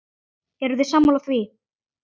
Eruð þið sammála því?